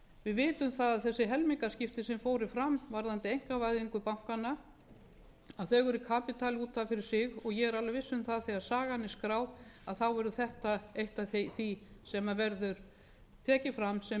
við vitum það að þessi helmingaskipti sem fóru fram varðandi einkavæðingu bankanna eru kapítuli út af fyrir sig og ég er alveg viss um það að þegar sagan er skráð verður þetta eitt af því sem verður tekið fram sem